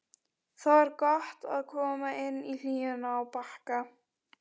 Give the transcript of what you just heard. Það var gott að koma inn í hlýjuna á Bakka.